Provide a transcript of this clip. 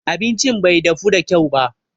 Abincin bai dafu da kyau ba.